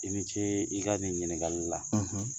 I ni ce i ka nin ɲgali la